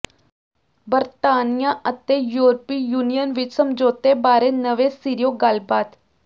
ਬਰਤਾਨੀਆ ਅਤੇ ਯੂਰਪੀ ਯੂਨੀਅਨ ਵਿੱਚ ਸਮਝੌਤੇ ਬਾਰੇ ਨਵੇਂ ਸਿਰਿਓਂ ਗੱਲਬਾਤ